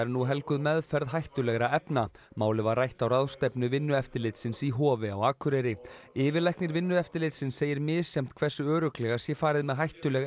nú helguð meðferð hættulegra efna málið var rætt á ráðstefnu Vinnueftirlitsins í Hofi á Akureyri yfirlæknir Vinnueftirlitsins segir misjafnt hversu örugglega sé farið með hættuleg